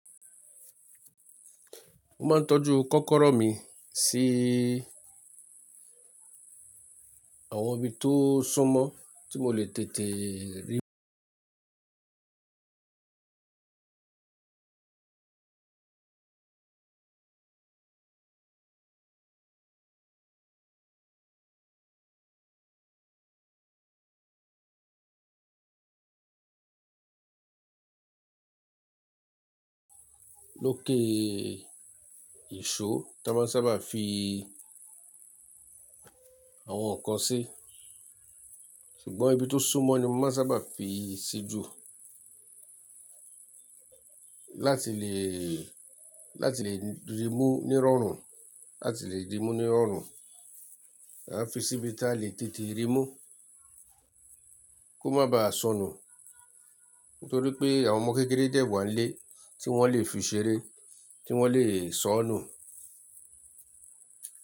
Ó máa ń tọ́jú kọ́kọ́rọ́ mi sí àwọn ibi tó súnmọ́ tí mo lè tètè rí. Lókè ìṣó, táa máa sábà fi àwọn nǹkan sí, ṣùgbọ́n ibi tó súnmọ́ ni wọ́n sábà fi sí jù láti lè, láti lè rí mú ní ìrọ̀rùn, láti lè ri mú ní ìrọ̀rùn. A fi sí ibi tá lè tètè rí mú kó má bá sọnù. Nítorí pé àwọn ọmọ kékeré dẹ̀ wa ń lé tí wọ́n lè fi ṣeré, tí wọ́n lè sọ nù.